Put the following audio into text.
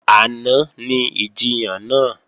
Àná ni ìjiyàn náà